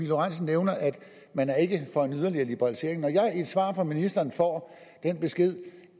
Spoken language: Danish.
lorentzen nævner at man ikke er for en yderligere liberalisering når jeg i et svar fra ministeren får den besked